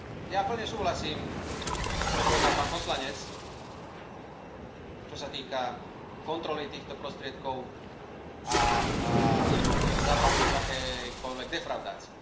Ja plne súhlasím s tým, čo povedal pán poslanec, čo sa týka kontroly týchto prostriedkov a samozrejme zabránenia akejkoľvek defraudácii.